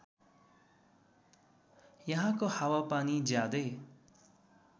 यहाँको हावापानी ज्यादै